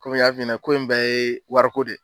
Kɔmi n y'a f'i nɛ na ko in bɛɛ ye wariko de ye.